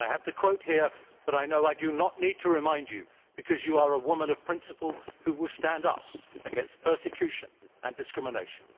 I have the quote here, but I know I do not need to remind you of it because you are a woman of principle who will stand up against persecution and discrimination.